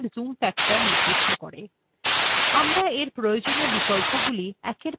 আমরা এর প্রয়োজনীয় বিকল্পগুলি একের পর এক আলোচনা করবো